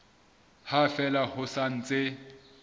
ha fela ho sa ntse